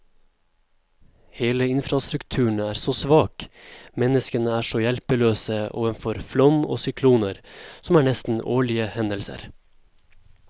Hele infrastrukturen er så svak, menneskene er så hjelpeløse overfor flom og sykloner, som er nesten årlige hendelser.